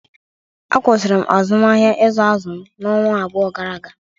Akwụsịrị m azụmahịa izu azụ n'ọnwa abụọ gara aga